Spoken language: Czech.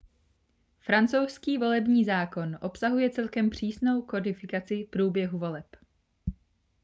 francouzský volební zákon obsahuje celkem přísnou kodifikaci průběhu voleb